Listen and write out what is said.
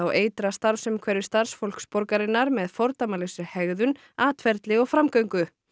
eitra starfsumhverfi starfsfólks borgarinnar með fordæmalausri hegðun atferli og framgöngu